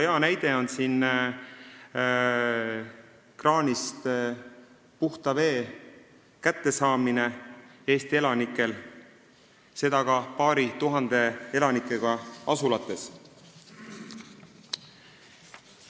Hea näide on siin see, et Eesti elanikud saavad kraanist puhast vett, seda ka paari tuhande elanikuga asulates.